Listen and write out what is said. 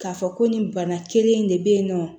K'a fɔ ko nin bana kelen in de be yen nɔ